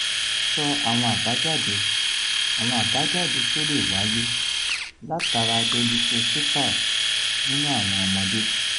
so àwọn àbájáde àwọn àbájáde tó lè wáyé latara dolichocephaly nínú àwọn ọmọdé